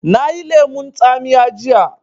Na yi lemun tsamiya jiya